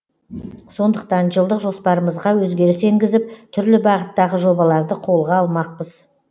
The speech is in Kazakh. сондықтан жылдық жоспарымызға өзгеріс енгізіп түрлі бағыттағы жобаларды қолға алмақпыз